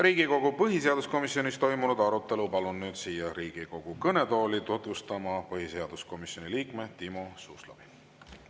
Riigikogu põhiseaduskomisjonis toimunud arutelu palun siia Riigikogu kõnetooli tutvustama põhiseaduskomisjoni liikme Timo Suslovi.